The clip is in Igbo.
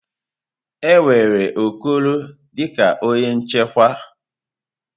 E were Okoro dị ka onye nchekwa.